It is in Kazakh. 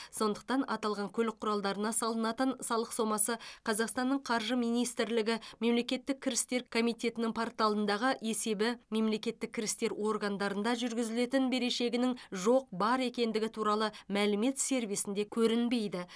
сондықтан аталған көлік құралдарына салынатын салық сомасы қазақстанның қаржы министрлігі мемлекеттік кірістер комитетінің порталындағы есебі мемлекеттік кірістер органдарында жүргізілетін берешегінің жоқ бар екендігі туралы мәлімет сервисінде көрінбейді